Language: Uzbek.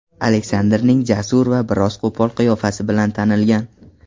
Aleksandrning jasur va biroz qo‘pol qiyofasi bilan tanilgan.